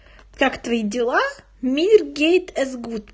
как твои дела мир гейт из гут